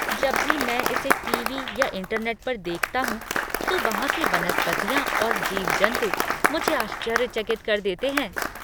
जब भी मैं इसे टीवी या इंटरनेट पर देखता हूँ तो वहाँ की वनस्पतियाँ और जीव जंतु मुझे आश्चर्यचकित कर देते हैं।